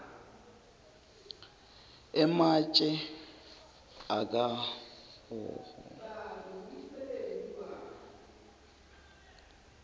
ematje akahhohho ayimihume